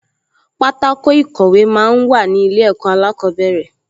Pátákò ìkọ̀wé máa ń wà ní ilé ẹ̀kọ́ alákọ̀ọ́bẹ̀rẹ̀